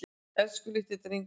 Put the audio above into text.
Elsku litli drengurinn minn.